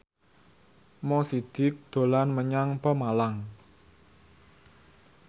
Mo Sidik dolan menyang Pemalang